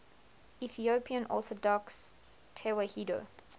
ethiopian orthodox tewahedo